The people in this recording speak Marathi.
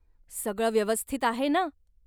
सगळं व्यवस्थित आहे ना?